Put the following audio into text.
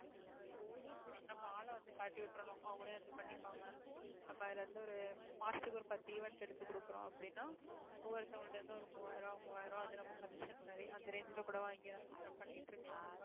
ஆஹ் எப்படின்னா நம்ம ஆளை வந்து காட்டி விட்டுறணும் அவங்களே வந்து பண்ணிப்பாங்க நம்ம அதுல இருந்து ஒரு மாசத்துக்கு ஒரு பத்து event எடுத்து கொடுக்குறோம் அப்படின்னா ஒவ்வொருத்தவங்ககிட்ட இருந்து ஒரு மூவாயிரம் மூவாயிரம் அது நம்ம commission மாதிரி அந்த range ல கூட வாங்கி job பண்ணிட்டு இருக்கலாம் நம்ம